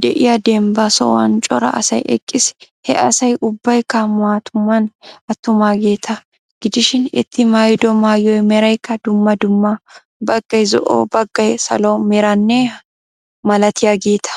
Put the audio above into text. de'iya dembba sohuwan cora asay eqqiis. He asay ubbaykka mattuman attumageeta gidishin eti maayido maayuwa meraykka dumma dumma. Baggay zo'o baggay salo meraanne h.h.malatiyageeta.